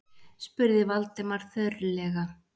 spurði Valdimar þurrlega.